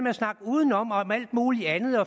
at snakke udenom og om alt muligt andet